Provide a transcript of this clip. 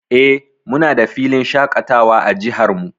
Eh, muna da filin shaƙatawa a jihar mu.